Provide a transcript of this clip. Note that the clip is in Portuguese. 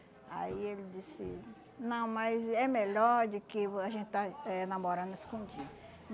Aí ele disse, não, mas é melhor de que a gente estar eh namorando escondido.